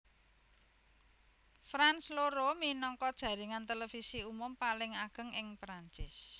France loro minangka jaringan televisi umum paling ageng ing Perancis